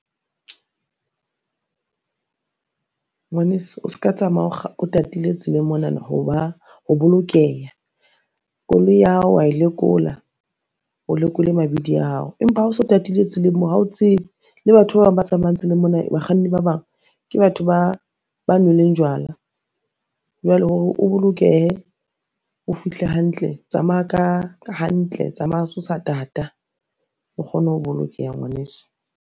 Ngwaneso o ska tsamaya o tatile tseleng monana ho ba ho bolokeha. Koloi ya hao wa e lekola o lekole mabidi a hao, empa ha o so tatile tseleng mo ha o tsebe le batho ba bang ba tsamayang tseleng mona, bakganni ba bang ke batho ba nweleng jwala. Jwale hore o bolokehe o fihle hantle, tsamaya ka hantle tsamaya o so sa tata, o kgone ho bolokeha ngwaneso.